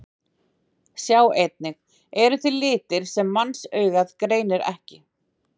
Sjá einnig: Eru til litir sem mannsaugað greinir ekki?